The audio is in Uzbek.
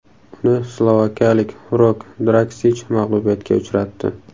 Uni slovakiyalik Rok Draksich mag‘lubiyatga uchratdi.